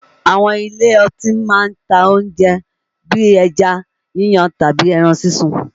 Àwọn ilé ọtí máa ń ta oúnjẹ bíi ẹja yíyan tàbí ẹran sísun